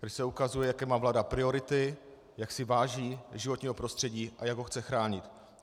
Tady se ukazuje, jaké má vláda priority, jak si váží životního prostředí a jak ho chce chránit.